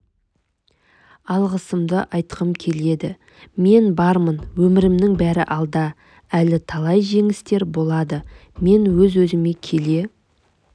алғысымды айтқым келеді мен бармын өмірімнің бәрі алда әлі талай жеңістер болады мен өз-өзіме келе